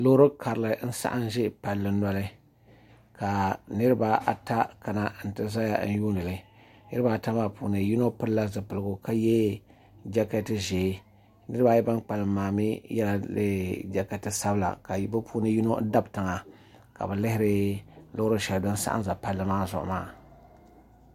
Loori karili n saɣam ʒɛ palli noli ka niraba ata kana n ti ʒɛya yuundili niraba ata maa puuni yino pilila zipiligu ka yɛ jɛkɛt ʒiɛ niraba ayi ban kpalim maa mii yɛla jɛkɛt sabila ka bi puuni yino ʒi tiŋa ka bi lihiri loori shɛli din saɣam ʒɛ palli maa zuɣu maa